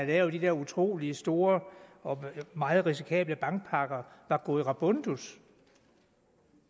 lavet de der utrolig store og meget risikable bankpakker var gået rabundus